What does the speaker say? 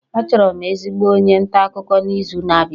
Achọrọ m ezigbo onye nta akụkọ n'izu na-abịa